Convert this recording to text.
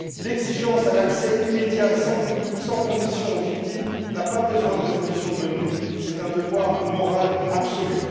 L'exigence d'accès immédiat et sans condition aux victimes n'a pas besoin de résolution de l'ONU, c'est un devoir moral absolu.